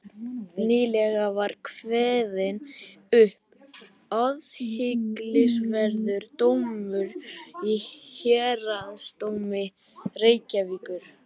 Nýlega var kveðinn upp athyglisverður dómur í héraðsdómi Reykjavíkur.